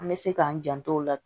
An bɛ se k'an janto o la